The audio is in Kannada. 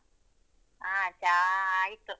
ಹ ಚಾ ಅಹ್ ಆಯ್ತು.